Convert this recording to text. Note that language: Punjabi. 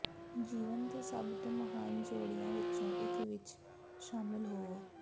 ਜੀਵਨ ਦੇ ਸਭ ਤੋਂ ਮਹਾਨ ਜੋੜਿਆਂ ਵਿੱਚੋਂ ਇੱਕ ਵਿੱਚ ਸ਼ਾਮਿਲ ਹੋਵੋ